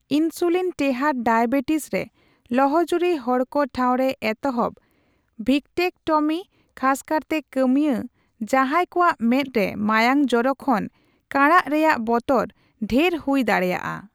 ᱤᱱᱥᱩᱞᱤᱱᱼᱴᱮᱦᱟᱸᱴ diabetes ᱨᱮ ᱞᱚᱦᱚᱡᱩᱨᱤ ᱦᱚᱲᱠᱚ ᱴᱷᱟᱣᱨᱮ ᱮᱛᱚᱦᱚᱵ ᱵᱷᱤᱠᱴᱨᱮᱠᱴᱚᱢᱤ ᱠᱷᱟᱥᱠᱟᱨᱛᱮ ᱠᱟᱹᱢᱤᱭᱟ, ᱡᱟᱸᱦᱟᱭ ᱠᱚᱣᱟᱜ ᱢᱮᱸᱫᱽᱨᱮ ᱢᱟᱭᱟᱝ ᱡᱚᱨᱚ ᱠᱷᱚᱱ ᱠᱟᱬᱟᱜ ᱨᱮᱭᱟᱜ ᱵᱚᱛᱚᱨ ᱰᱷᱮᱨ ᱦᱩᱭ ᱫᱟᱲᱮᱭᱟᱜᱼᱟ ᱾